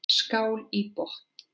Skál í botn.